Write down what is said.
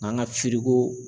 N'an ka firiko